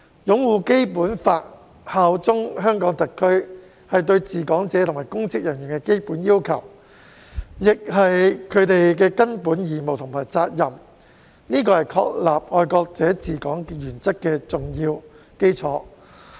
"擁護《基本法》、效忠香港特區"是對治港者及公職人員的基本要求，亦是他們的根本義務和責任，這是確立"愛國者治港"原則的重要基礎。